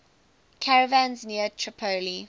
caravans near tripoli